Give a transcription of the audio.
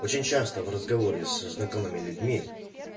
очень часто в разговоре с знакомыми людьми